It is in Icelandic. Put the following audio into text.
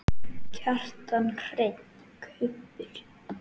Kjartan Hreinn: Kubbur?